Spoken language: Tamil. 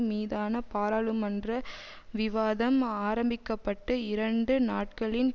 மீதான பாராளுமன்ற விவாதம் ஆரம்பிக்கப்பட்டு இரண்டு நாட்களின்